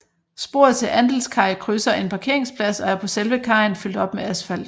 Sporet til Andelskaj krydser en parkeringsplads og er på selve kajen fyldt op med asfalt